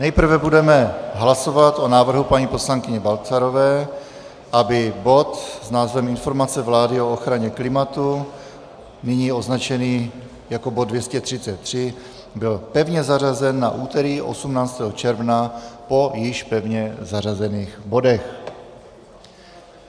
Nejprve budeme hlasovat o návrhu paní poslankyně Balcarové, aby bod s názvem Informace vlády o ochraně klimatu, nyní označený jako bod 233, byl pevně zařazen na úterý 18. června po již pevně zařazených bodech.